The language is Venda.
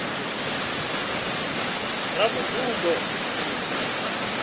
ravhududo